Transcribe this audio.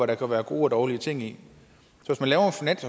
der kan være gode og dårlige ting i